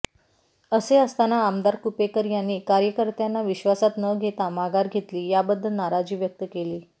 असे असताना आमदार कुपेकर यांनी कार्यकर्त्यांना विश्वासात न घेता माघार घेतली याबद्दल नाराजी व्यक्त केली